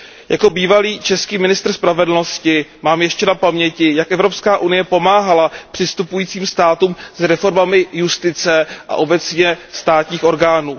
Jako bývalý český ministr spravedlnosti mám ještě na paměti, jak EU pomáhala přistupujícím státům s reformami justice a obecně státních orgánů.